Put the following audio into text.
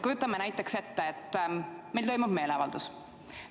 Kujutame näiteks ette, et meil toimub meeleavaldus.